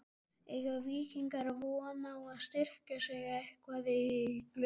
Eiga Víkingar von á að styrkja sig eitthvað í glugganum?